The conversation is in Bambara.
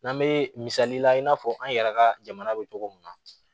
N'an bɛ misali la i n'a fɔ an yɛrɛ ka jamana bɛ cogo min na